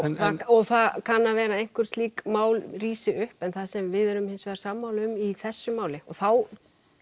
og það kann að vera að einhver slík mál rísi upp en það sem við erum hins vegar sammála um í þessu máli og þá